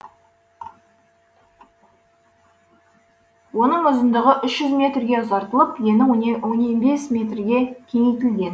оның ұзындығы үш жүз метрге ұзартылып ені он бес метрге кеңейтілген